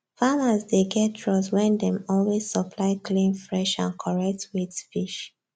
farmers dey get trust when dem always supply clean fresh and correctweight fish